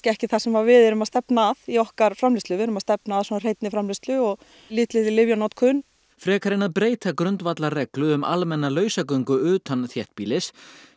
ekki það sem við erum að stefna að í okkar framleiðslu við erum að stefna að hreinni framleiðslu og lítilli lyfjanotkun frekar en að breyta grundvallarreglu um lausagöngu utan þéttbýlis